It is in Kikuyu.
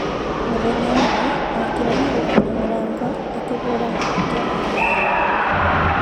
Mũthenya ũmwe okire na gũkũna mũrango ,akibũra mateke na kunegena mũno.